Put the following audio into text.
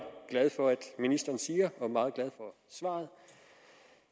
glad for at ministeren siger og meget glad for svaret